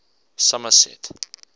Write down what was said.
somerset